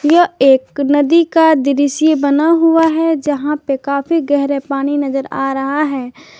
यह एक नदी का दृश्य बना हुआ है जहां पे काफी गहरे पानी नजर आ रहा है।